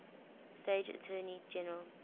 state attorney general